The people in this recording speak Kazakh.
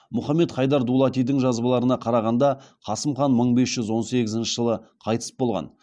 мұхаммед хайдар дулатидың жазбаларына қарағанда қасым хан мың бес жүз он бесінші жылы қайтыс болған